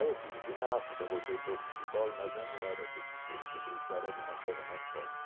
Aí eu fiz ginástica, voltei para o futebol, mas já não era o suficiente, precisava de uma coisa mais forte.